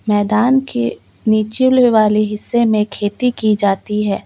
मैदान के निचले वाले हिस्से में खेती की जाती है।